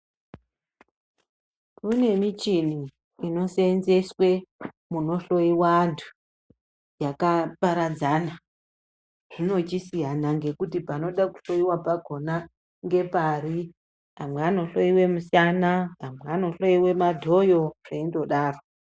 Kune michini inosenzeswa kundohloiwa vantu kwakaparadzanwa zvinochisiyanwa kuti panoda kuhloiwa pakona ngepari amwe anohloiwa musana amwe anohloiwa madhouse zveingodaro.